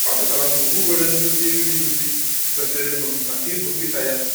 Ọ chọtara ngwugwu nwere nduzi iri nri kwesịrịnụ maka ibu nkịta ya